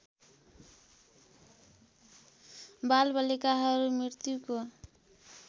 बालबालिकाहरू मृत्युको